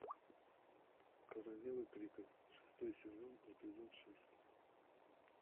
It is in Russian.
королевы крика шестой сезон эпизод шесть